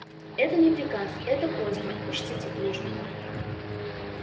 это не приказ это просьба учтите плужников